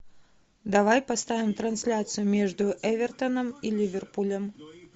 давай поставим трансляцию между эвертоном и ливерпулем